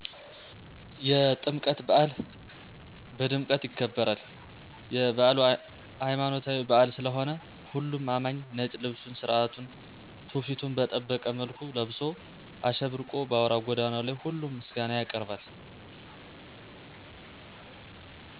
የጥምቀት በአል ቀድምቀት ይከበራል። የለይማኖታዊበአል ስለሆነሁሉም አማኚ ነጭ ልብሱን ስራቱና ትውፊቱን በጠበቀ መልኩ ለብሶ አሸብርቆ በአውራ ጎዳናው ላይ ሁሉም ምስጋና ያቀርባል።